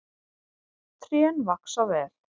Trén vaxa vel.